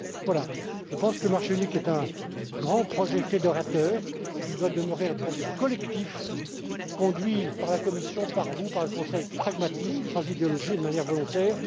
CEO networks. Voilà, je pense que le marché unique est un grand projet fédérateur, qui doit demeurer un projet collectif conduit par la Commission, par vous et par le Conseil, avec pragmatisme, sans idéologie et de manière